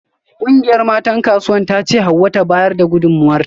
Kungiyar matan Kasuwar tace Hauwa ta bayar da gudunmawarta